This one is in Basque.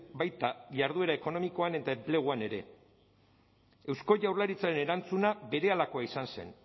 baita jarduera ekonomikoan eta enpleguan ere eusko jaurlaritzaren erantzuna berehalakoa izan zen